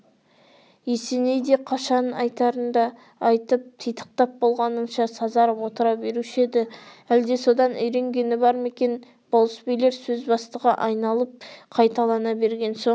есеней де қашан айтарында айтып титықтап болғаныңша сазарып отыра беруші еді әлде содан үйренгені бар ма екен болыс билер сөзі бастыға айналып қайталана берген соң